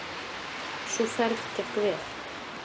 Sú ferð gekk vel.